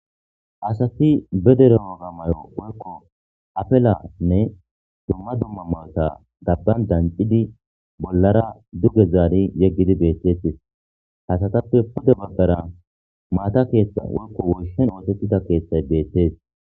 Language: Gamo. Hasafi bedere oga mayo woykko apelanne dumma dumma mawota gabban dancidi bollara duge zaari yeggidi beettetis hasatappe pude baggara maata keeththa woykko woyshen ootettida keeththay beethtes.